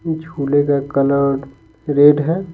झूले का colour red है।